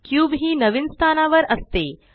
cube ही नवीन स्थानावर असते